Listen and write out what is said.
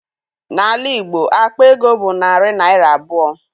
N'ala Igbo, akpa ego bụ narị naịra abụọ